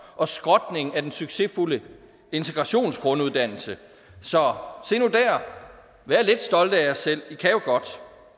og skrotning af den succesfulde integrationsgrunduddannelse så se nu der vær lidt stolte af jer selv i kan jo godt